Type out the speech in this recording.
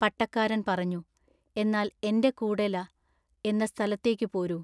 പട്ടക്കാരൻ പറഞ്ഞു:--എന്നാൽ എന്റെ കൂടെല--എന്ന സ്ഥലത്തേക്കു പോരൂ.